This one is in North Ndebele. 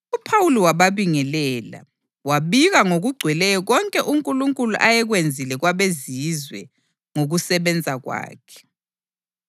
UPhawuli wababingelela, wabika ngokugcweleyo konke uNkulunkulu ayekwenzile kwabeZizwe ngokusebenza kwakhe.